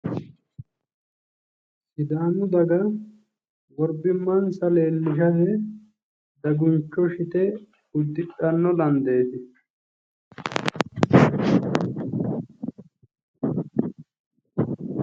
Sidaamu daga worbimmansa leellishanni daguncho shite uddidhanno landeeti.